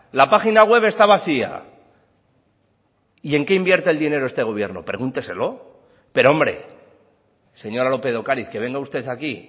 la página web está vacía y en qué invierte el dinero este gobierno pregúnteselo pero hombre señora lópez de ocariz que venga usted aquí